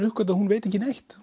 uppgötva að hún veit ekki neitt